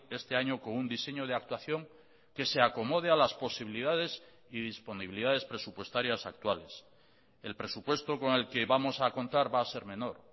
este año con un diseño de actuación que se acomode a las posibilidades y disponibilidades presupuestarias actuales el presupuesto con el que vamos a contar va a ser menor